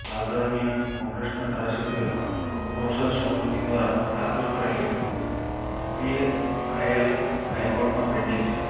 આ દરમિયાન કોંગ્રેસના ધારાસભ્ય નૌશાદ સોલંકી દ્વારા દાખલ કરેલી પીઆઈએલ હાઈકોર્ટમાં પેન્ડિંગ છે